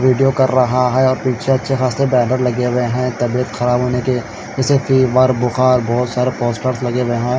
Video कर रहा हैं पीछे अच्छे खासे बैनर लगे हुए हैं तबीयत खराब होने की किसी की बीमार बुखार बहोत सारे पोस्टर लगे हुए हैं।